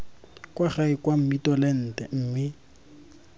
kwa gae kwa mmitolente mme